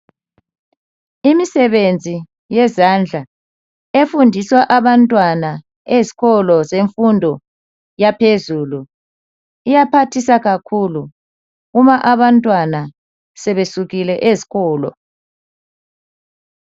Imisebenzi yezandla efundiswa abantwana ezikolo zemfundo yaphezulu iyaphathisa kakhulu uma abantwana sebesukile ezikolo.